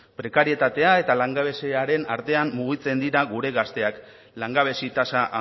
prekarietatea eta langabeziaren artean mugitzen dira gure gazteak langabezi tasa